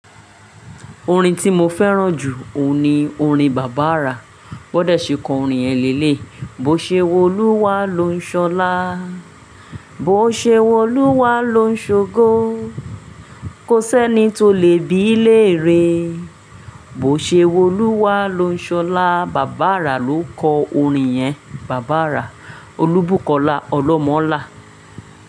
Orin tí mo fẹ́ràn jù òun ni orin Bàbá Àrà. Bọ́n dẹ̀ ṣe kọ orin yen leleyi. Bo ṣe wolúwa lo ń ṣọlá, bo ṣe wolúwa lo ń ṣogo, kò sẹ́ni tó le bí i léèrè, bo ṣe wolúwa lo ń ṣọlá. Bàbá Àrà ló kọ orin yẹn. Bàbá Àrà. Olúbùkọlá Olómọlá.